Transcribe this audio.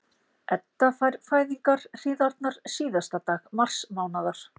Edda fær fæðingarhríðarnar síðasta dag marsmánaðar.